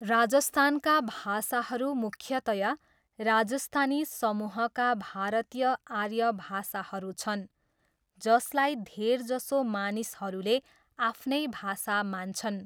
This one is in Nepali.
राजस्थानका भाषाहरू मुख्यतया राजस्थानी समूहका भारतीय आर्य भाषाहरू छन्, जसलाई धेरजसो मानिसहरूले आफ्नै भाषा मान्छन्।